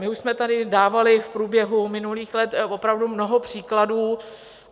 My už jsme tady dávali v průběhu minulých let opravdu mnoho příkladů.